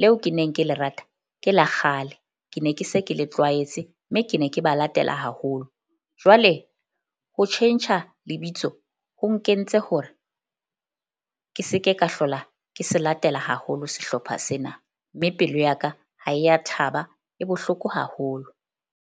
leo ke neng ke lerata, ke la kgale. Ke ne ke se ke le tlwaetse mme ke ne ke ba latela haholo. Jwale ho tjhentjha lebitso ho nkentse hore ke se ke ka hlola ke se latela haholo sehlopha sena, mme pelo ya ka ha e ya thaba, e bohloko haholo.